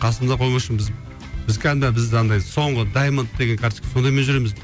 қасымда біз кәдімгі ана бізді андай соңғы даймонд деген карточка сондаймен жүреміз